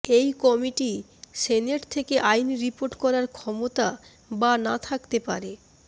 এই committee senate থেকে আইন রিপোর্ট করার ক্ষমতা বা না থাকতে পারে